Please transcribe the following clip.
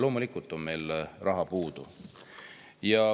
Loomulikult on meil raha puudu.